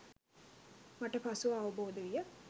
මට පසුව අවබෝද විය.